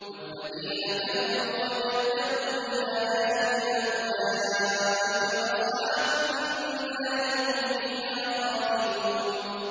وَالَّذِينَ كَفَرُوا وَكَذَّبُوا بِآيَاتِنَا أُولَٰئِكَ أَصْحَابُ النَّارِ ۖ هُمْ فِيهَا خَالِدُونَ